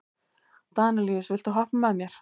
Danelíus, viltu hoppa með mér?